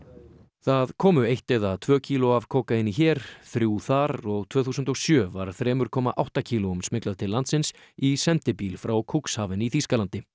það komu eitt eða tvö kíló af kókaíni hér þrjú þar og tvö þúsund og sjö var þrjú komma átta kílóum smyglað til landsins í sendibíl frá Cuxhaven í Þýskalandi